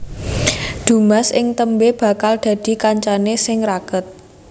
Dumas ing tembé bakal dadi kancané sing raket